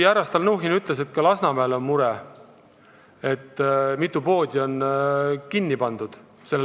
Härra Stalnuhhin ütles, et ka Lasnamäel on mure, et mitu poodi on seal kinni pandud.